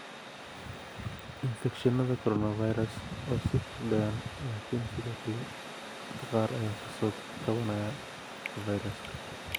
Infekshannada Coronavirus way sii kordhayaan laakiin sidoo kale dadka qaar ayaa ka soo kabanaya fayraska.